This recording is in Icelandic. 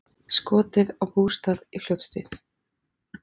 Skotið á bústað í Fljótshlíð